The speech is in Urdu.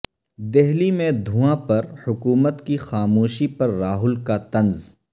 دہلی میں دھواں پر حکومت کی خاموشی پر راہل کا طنز